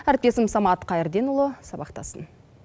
әріптесім самат қайрденұлы сабақтасын